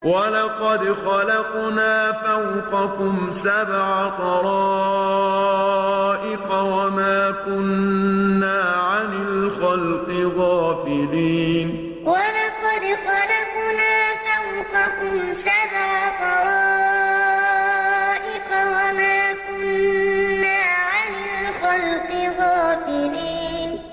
وَلَقَدْ خَلَقْنَا فَوْقَكُمْ سَبْعَ طَرَائِقَ وَمَا كُنَّا عَنِ الْخَلْقِ غَافِلِينَ وَلَقَدْ خَلَقْنَا فَوْقَكُمْ سَبْعَ طَرَائِقَ وَمَا كُنَّا عَنِ الْخَلْقِ غَافِلِينَ